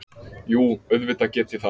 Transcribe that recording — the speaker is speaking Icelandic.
Jú, auðvitað get ég það.